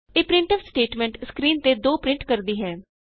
ਇਹ printf statement screen ਤੇ 2 print ਕਰਦੀ ਹੈ